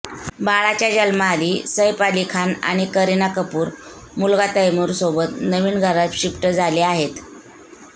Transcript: बाळाच्या जन्माआधी सैफ अली खान आणि करीना कपूर मुलगा तैमूरसोबत नवीन घरात शिफ्ट झाले आहेत